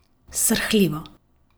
Srhljivo.